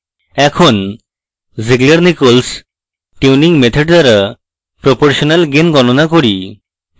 এখন zieglernichols tuning method দ্বারা proportional gain গণনা করি